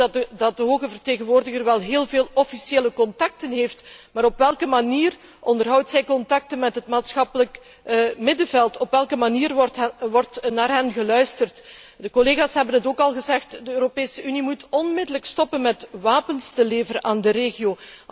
Wij horen dat de hoge vertegenwoordiger wel heel veel officiële contacten heeft, maar op welke manier onderhoudt zij contacten met het maatschappelijk middenveld, op welke manier wordt naar hiernaar geluisterd? De collega's hebben het ook al gezegd, de Europese Unie moet onmiddellijk stoppen met het leveren van wapens aan de regio.